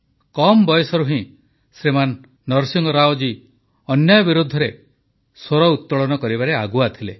କମ୍ ବୟସରୁ ହିଁ ଶ୍ରୀମାନ ନରସିଂହ ରାଓ ଅନ୍ୟାୟ ବିରୋଧରେ ସ୍ୱର ଉତୋଳନ କରିବାରେ ଆଗୁଆ ଥିଲେ